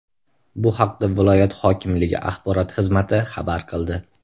Bu haqda viloyat hokimligi axborot xizmati xabar qildi .